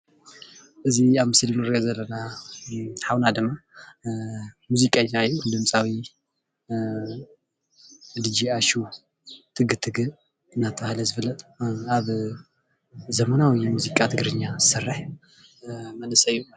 እዚ ኣብ ምስሊ እንሪኦ ዘለና ሓውና ድማ ሙዚቀኛ እዩ፡፡ ድመፃዊ ድጄ ኣሹ ቲግ ቲግ እንዳተባሃለ ዝፍለጥ ኣብ ዘመናዊ ሙዚቃ ትግርኛ ዝሰርሕ መንእሰይ እዩ፡፡